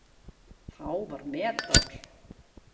Þá var metár.